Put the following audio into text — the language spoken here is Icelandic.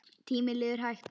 Tíminn líður hægt.